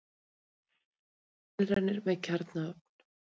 Verið var að gera tilraunir með kjarnaofn.